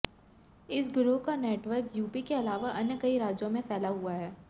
इस गिरोह का नेटवर्क यूपी के अलावा अन्य कई राज्यों में फैला हुआ है